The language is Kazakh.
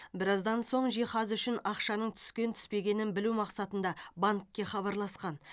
біраздан соң жиһаз үшін ақшаның түскен түспегенін білу мақсатында банкке хабарласқан